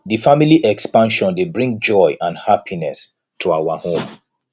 di family expansion dey bring joy and happiness to our home